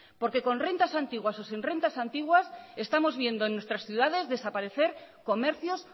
porque con rentas antiguas o sin rentas antiguas estamos viendo en nuestras ciudades desaparecer comercios